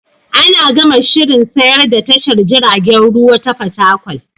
Ana gama shirin sayar da tashar jiragen ruwa ta Fatakwal.